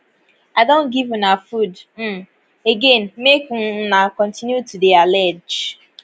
i don give una food um again make um una continue to deyallege